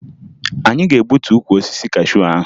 Anyị ga-egbutu ukwu osisi kashuu ahụ